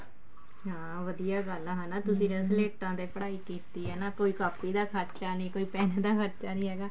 ਹਾਂ ਵਧੀਆ ਗੱਲ ਹੈ ਹਨਾ ਤੁਸੀਂ ਤਾਂ ਸਲੇਟਾ ਤੇ ਪੜ੍ਹਾਈ ਕੀਤੀ ਨਾ ਕੋਈ ਕਾਪੀ ਦਾ ਖਰਚਾ ਨਾ pen ਦਾ ਖਰਚਾ ਹੈਗਾ